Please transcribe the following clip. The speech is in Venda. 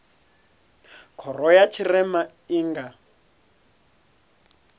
khoro ya tshirema i nga